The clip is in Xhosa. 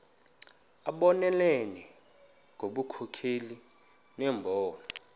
abonelele ngobunkokheli nembono